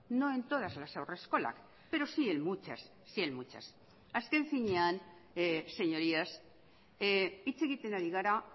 no en todas las haurreskolak pero sí en muchas sí en muchas azken finean señorías hitz egiten ari gara